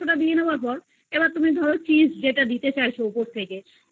টা দিয়ে দেয়ার পর এইবার ধরো cheese যেটা তুমি দিতে চাইছো উপর